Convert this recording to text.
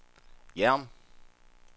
Hjerm